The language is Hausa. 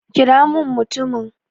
kira min mutumin!